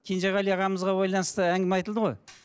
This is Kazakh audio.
кенжеғали ағамызға байланысты әңгіме айтылды ғой